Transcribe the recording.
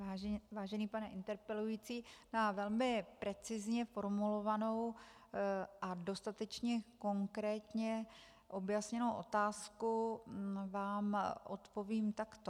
Vážený pane interpelující, na velmi precizně formulovanou a dostatečně konkrétně objasněnou otázku vám odpovím takto.